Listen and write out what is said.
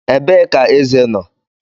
Ebee ka eze nọ?